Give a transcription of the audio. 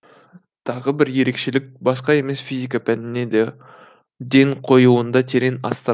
тағы бір ерекшелік басқа емес физика пәніне де ден қоюында терең астар